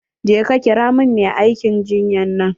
Je ka kira min mai aikin jinyan nan.